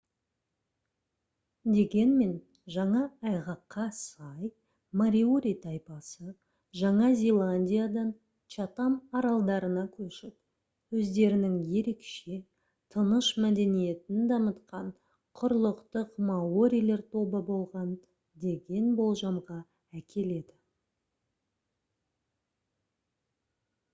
дегенмен жаңа айғаққа сай мориори тайпасы жаңа зеландиядан чатам аралдарына көшіп өздерінің ерекше тыныш мәдениетін дамытқан құрлықтық маорилер тобы болған деген болжамға әкеледі